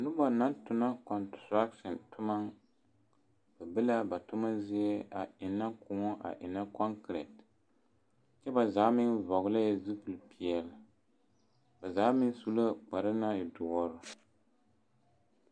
Noba na tona kɔnterasen toma be la ba toma zie a ɛnnɛ kõɔ a ɛnnɛ kɔnkere kyɛ ba zaa meŋ vɔɡelɛɛ zupilipeɛle ba zaa meŋ su la kpar naŋ e duɔre.